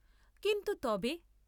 কিন্তু তবে?